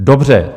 Dobře.